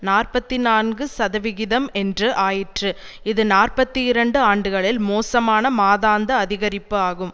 நாற்பத்தி நான்கு சதவிகிதம் என்று ஆயிற்று இது நாற்பத்தி இரண்டு ஆண்டுகளில் மோசமான மாதாந்த அதிகரிப்பு ஆகும்